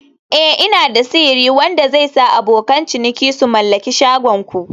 Eh" Ina da sihiri wanda zai sa abokan ciniki su mallaki shagon ku